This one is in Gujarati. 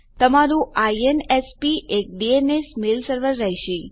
તમારું આઇએનએસપી એક ડીએનએસ મેલ સર્વર રહેશે